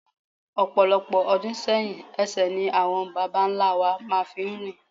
Ọ̀pọ̀lọpọ̀ ọdún sẹ́yìn ẹsẹ̀ ni àwọn babá ńlá wa máa fi ń rìn.